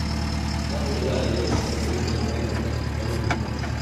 Na ƙudiri aniyar sayen ƙungiyar ƙwallon ƙafa ta Kano Pilas.